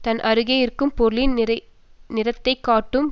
தன் அருகே இருக்கும் பொருளின் நிறத்தை காட்டும்